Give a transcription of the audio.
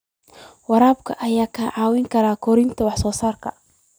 Waraabka ayaa kaa caawin kara kordhinta wax soo saarka.